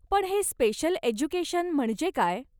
पण हे special education म्हणजे काय?